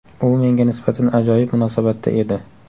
U menga nisbatan ajoyib munosabatda edi.